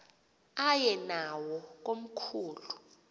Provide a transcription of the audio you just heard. aye nawo komkhulu